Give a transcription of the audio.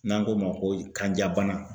N'an k'o ma ko kanjabana.